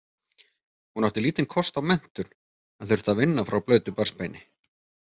Hún átti lítinn kost á menntun en þurfti að vinna frá blautu barnsbeini.